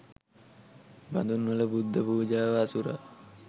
බඳුන්වල බුද්ධපූජාව අසුරා